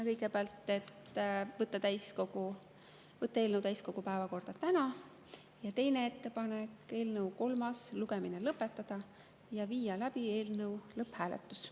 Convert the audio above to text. Kõigepealt otsustati võtta eelnõu täiskogu päevakorda täna ja teine ettepanek oli eelnõu kolmas lugemine lõpetada ja viia läbi eelnõu lõpphääletus.